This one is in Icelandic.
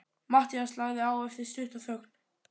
Matthías lagði á eftir stutta þögn.